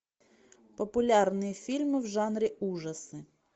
популярные фильмы в жанре ужасы